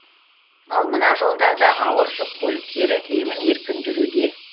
ал мына жолдарда ауыр жүк көліктері емін еркін жүруде